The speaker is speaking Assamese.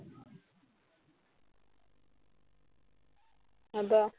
হব